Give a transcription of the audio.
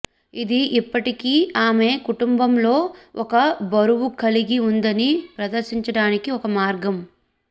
ఇది ఇప్పటికీ ఆమె కుటుంబం లో ఒక బరువు కలిగి ఉందని ప్రదర్శించడానికి ఒక మార్గం